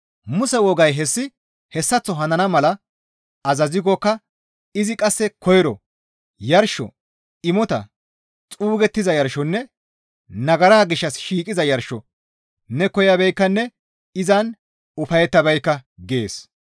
Muse wogay hessi hessaththo hanana mala azazikkoka izi qasse koyro, «Yarsho, imota, xuugettiza yarshonne nagara gishshas shiiqiza yarsho ne koyabeekkanne izan ufayettabeekka» gees.